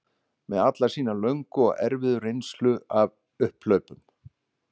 Með alla sína löngu og erfiðu reynslu af upphlaupum